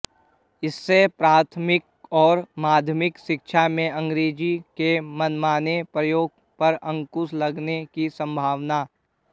इससे प्राथमिक और माध्यमिक शिक्षा में अंग्रेजी के मनमाने प्रयोग पर अंकुश लगने की सम्भावना